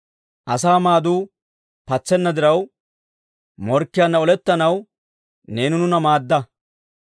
Asaa maaduu patsenna diraw, morkkiyaanna olettanaw neeni nuuna maadda.